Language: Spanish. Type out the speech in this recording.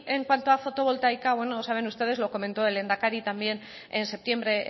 en cuanto a fotovoltaica bueno ya saben ustedes lo comentó el lehendakari también en septiembre